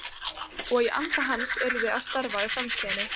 Og í anda hans yrði að starfa í framtíðinni.